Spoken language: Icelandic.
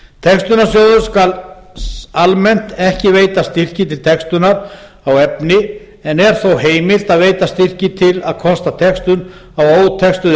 textunarsjóður skal almennt ekki veita styrki til textunar á efni en er þó heimilt að veita styrki til að kosta textun á ótextuðu